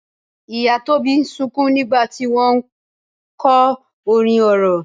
Ìyá Tóbi ń sunkún nígbà tí wọ́n ń kọ orin orò.